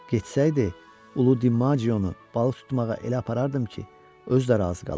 Getsəydi, Ulu DiMağionu balıq tutmağa elə aparardım ki, özü də razı qalardı.